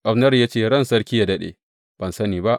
Abner ya ce ran sarki yă daɗe, Ban sani ba.